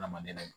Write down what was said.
Adamaden